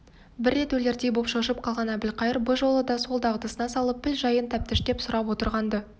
бір рет өлердей боп шошып қалған әбілқайыр бұ жолы да сол дағдысына салып піл жайын тәптіштеп сұрап отырған-ды